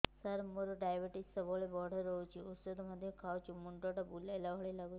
ସାର ମୋର ଡାଏବେଟିସ ସବୁବେଳ ବଢ଼ା ରହୁଛି ଔଷଧ ମଧ୍ୟ ଖାଉଛି ମୁଣ୍ଡ ଟା ବୁଲାଇବା ଭଳି ଲାଗୁଛି